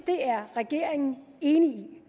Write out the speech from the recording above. at regeringen er enig